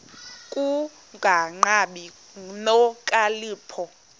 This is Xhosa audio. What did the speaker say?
ku kungabi nokhalipho